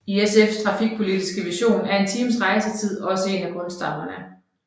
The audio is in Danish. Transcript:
I SFs trafikpolitiske vision er en times rejsetid også en af grundstammerne